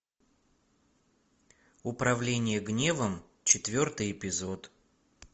управление гневом четвертый эпизод